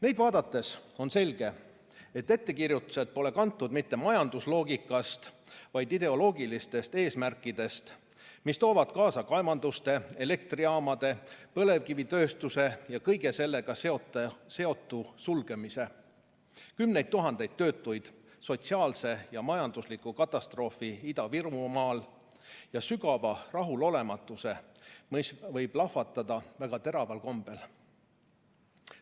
Neid vaadates on selge, et ettekirjutused pole kantud mitte majandusloogikast, vaid ideoloogilistest eesmärkidest, mis toovad kaasa kaevanduste, elektrijaamade, põlevkivitööstuse ja kõige sellega seotu sulgemise, kümneid tuhandeid töötuid, sotsiaalse ja majandusliku katastroofi Ida-Virumaal ning sügava rahulolematuse, mis võib lahvatada väga teraval kombel.